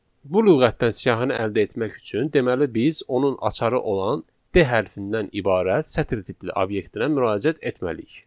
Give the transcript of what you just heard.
Bu lüğətdən siyahını əldə etmək üçün, deməli biz onun açarı olan D hərfindən ibarət sətir tipli obyektə müraciət etməliyik.